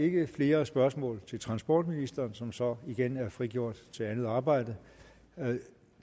ikke flere spørgsmål til transportministeren som så igen er frigjort til andet arbejde